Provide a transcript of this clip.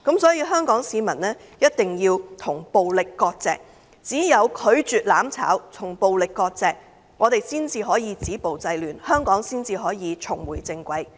因此，香港市民一定要與暴力割席，只有拒絕"攬炒"，與暴力割席，我們才能止暴制亂，香港才能重回正軌。